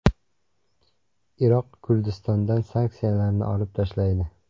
Iroq Kurdistondan sanksiyalarni olib tashlaydi.